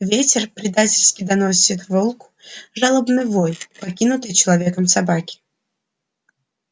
ветер предательски доносит волку жалобный вой покинутой человеком собаки